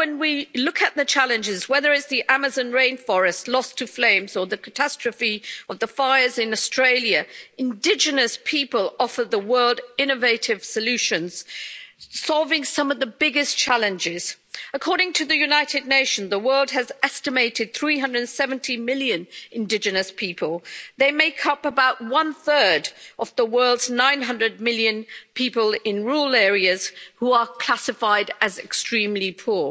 when we look at the challenges, whether it's the Amazon rainforest lost to flames or the catastrophe of the fires in Australia, indigenous people offer the world innovative solutions, solving some of the biggest challenges. According to the United Nations, the world has an estimated 370 million indigenous people. They make up about one third of the world's 900 million people in rural areas who are classified as extremely poor.